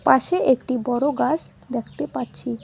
পাশে একটি বড় গাছ দেখতে পাচ্ছি।